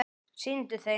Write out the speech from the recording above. Sýndu þeim!